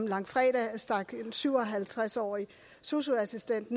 langfredag stak en syv og halvtreds årig sosu assistent